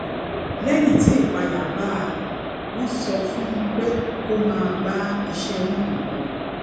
léyìn tí ìpayà bá a wón sọ fún un pé kó máa bá iṣé náà lọ